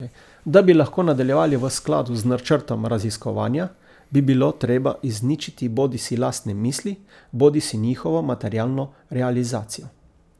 Da bi lahko nadaljevali v skladu z načrtom raziskovanja, bi bilo treba izničiti bodisi lastne misli bodisi njihovo materialno realizacijo.